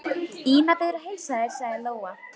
Ína biður að heilsa þér, sagði Lóa.